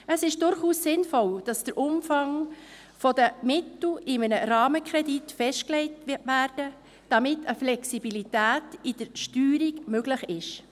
Es ist durchaus sinnvoll, dass der Umfang der Mittel in einem Rahmenkredit festgelegt wird, damit eine Flexibilität bei der Steuerung möglich ist.